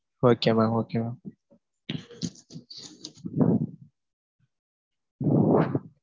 Okay mam okay mam.